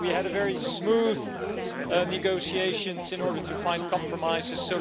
we had very smooth negotiations in order to find compromises.